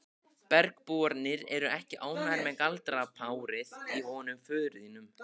Bergbúarnir eru ekki ánægðir með galdrapárið í honum föður þínum.